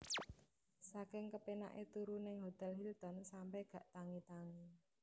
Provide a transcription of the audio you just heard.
Saking kepenak e turu nang Hotel Hilton sampe gak tangi tangi